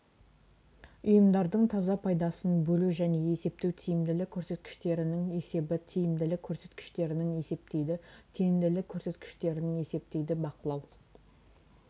ұйымдардың таза пайдасын бөлу және есептеу тиімділік көрсеткіштерінің есебі тиімділік көрсеткіштерінің есептейді тиімділік көрсеткіштерінің есептейді бақылау